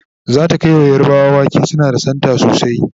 zata Kai wa yarbawa wake suna da Santa sosai